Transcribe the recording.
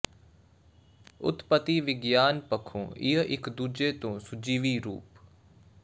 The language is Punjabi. ਉਤਪਤੀ ਵਿਗਿਆਨ ਪੱਖੋਂ ਇਹ ਇੱਕ ਦੂਜੇ ਤੋਂ ਸੁਜੀਵੀ ਰੂਪ